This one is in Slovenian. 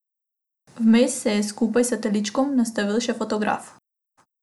Vmes se je skupaj s teličkom nastavil še fotografu.